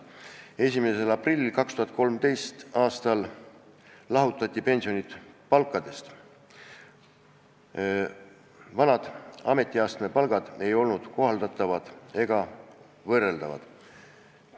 1. aprillil 2013. aastal lahutati pensionid palkadest, vanad ametiastme palgad ei olnud kohaldatavad ega võrreldavad.